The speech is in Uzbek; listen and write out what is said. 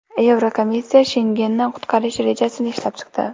Yevrokomissiya Shengenni qutqarish rejasini ishlab chiqdi.